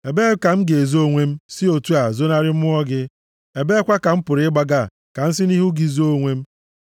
Ebee ka m ga-ezo onwe m si otu a zonarị Mmụọ gị? Ebeekwa ka m pụrụ ịgbaga ka m si nʼihu gị zoo onwe m?